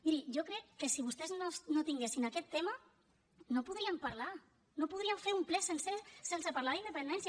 miri jo crec que si vostès no tinguessin aquest tema no podrien parlar no podrien fer un ple sencer sense parlar d’independència